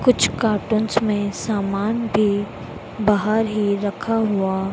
कुछ कार्टूंस में सामान भी बाहर ही रखा हुआ--